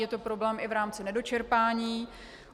Je to problém i v rámci nedočerpání.